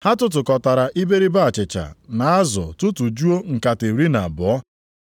Ha tụtụkọtara iberibe achịcha na azụ tụtụjuo nkata iri na abụọ.